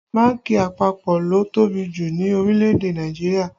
Bánkì àpapọ̀ ló tóbi jù ní orílẹ̀ èdè Nàìjíríà